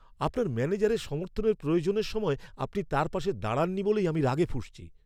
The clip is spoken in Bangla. আপনার ম্যানেজারের সমর্থনের প্রয়োজনের সময় আপনি তার পাশে দাঁড়াননি বলেই আমি রাগে ফুঁসছি।